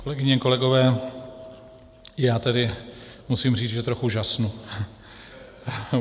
Kolegyně, kolegové, já tedy musím říci, že trochu žasnu.